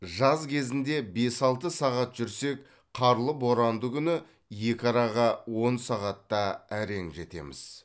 жаз кезінде бес алты сағат жүрсек қарлы боранды күні екі араға он сағатта әрең жетеміз